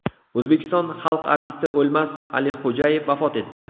O‘zbekiston xalq artisti O‘lmas Alixo‘jayev vafot etdi.